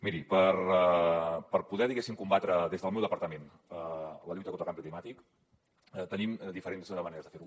miri per poder diguéssim combatre des del meu departament la lluita contra el canvi climàtic tenim diferents maneres de fer ho